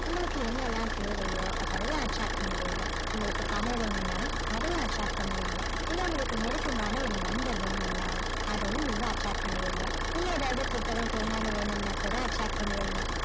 உங்களுக்கு என்னெல்லாம் தேவையோ அதெல்லாம் attract பண்ணுவீங்க உங்களுக்கு பணம் வேணும்னா அதையும் attract பண்ணுவீங்க இல்ல உங்களுக்கு நெருக்கமான ஒரு நண்பர் வேணும்னா அதையும் நீங்க attract பண்ணுவீங்க இல்லை ஏதாவது புத்தகம் பேனானு வேணும்னா கூட attract பண்ணுவீங்க